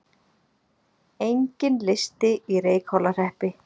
Enginn listi í Reykhólahreppi